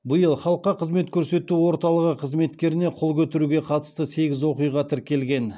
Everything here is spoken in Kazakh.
биыл халыққа қызмет көсету орталығы қызметкеріне қол көтеруге қатысты сегіз оқиға тіркелген